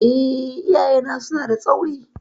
Eh, iyayena suna da tsauri.